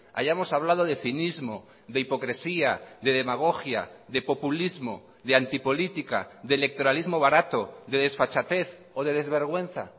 hayamos hablado de cinismo de hipocresía de demagogia de populismo de antipolítica de electoralismo barato de desfachatez o de desvergüenza